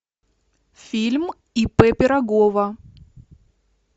фильм ип пирогова